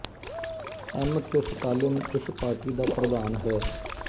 M K Stalin ਇਸ party ਦਾ ਪ੍ਰਧਾਨ ਹੈ